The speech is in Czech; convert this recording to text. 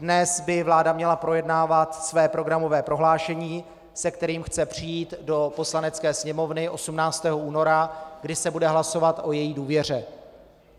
Dnes by vláda měla projednávat své programové prohlášení, se kterým chce přijít do Poslanecké sněmovny 18. února, kdy se bude hlasovat o její důvěře.